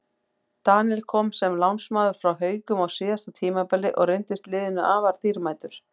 Daníel kom sem lánsmaður frá Haukum á síðasta tímabili og reyndist liðinu afar dýrmætur.